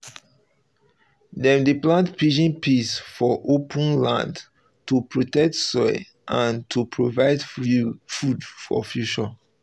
dem dey plant pigeon pea for open for open land to protect soil and to provide food for future